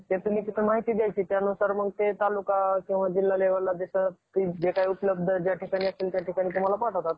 महाराष्ट्राची निर्मिती एक मे एकोणीशे साठ मध्ये झाली. आणि यावेळी महाराष्ट्र राज्याची राजधानी मुंबई बनली. आणि मंग महाराष्ट्र राज्य,